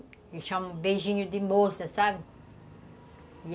Eles chamam de beijinho de moça, sabe?